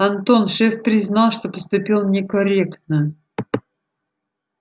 антон шеф признал что поступил некорректно